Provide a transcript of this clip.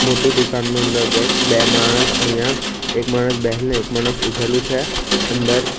મોટુ દુકાનનું અંદર ગેટ બે માણસ અહીંયા એક માણસ બેહેલો એક માણસ ઉભેલું છે અંદર.